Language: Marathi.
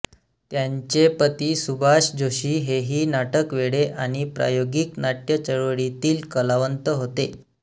त्यांचे पती सुभाष जोशी हेही नाटकवेडे आणि प्रायोगिक नाट्यचळवळीतील कलावंत होते